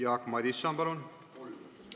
Jaak Madison, palun!